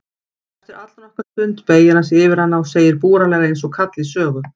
Eftir allnokkra stund beygir hann sig yfir hana og segir búralega einsog kall í sögu